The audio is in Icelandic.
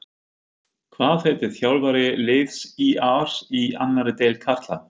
Hvað heitir þjálfari liðs ÍR í annarri deild karla?